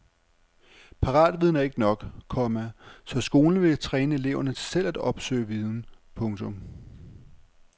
Paratviden er ikke nok, komma så skolen vil træne eleverne til selv at opsøge viden. punktum